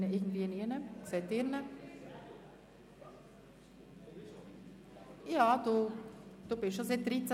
– Er ist in die Rednerliste eingetragen, aber ich sehe ihn nirgendwo.